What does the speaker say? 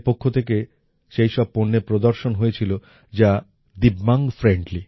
তাদের পক্ষ থেকে সেই সব পণ্যের প্রদর্শণ হয়েছিল যা Divyangfriendly